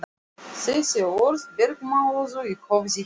Þessi orð bergmáluðu í höfði hennar.